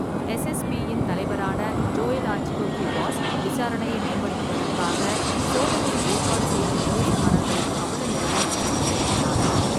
எஸ்எஸ்பியின் தலைவரான Joel Artigo Cuevas, விசாரணையை மேம்படுத்துவதற்காக சோதனையை ஏற்பாடு செய்த போலீஸ்காரர்களின் அவலநிலையை உறுதிப்படுத்தினார்.